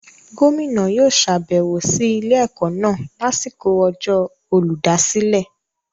Gómìnà yóò sàbẹ̀wò sí ilé-ẹ̀kọ́ náà lásìkò ọjọ́ Olùdásílẹ̀.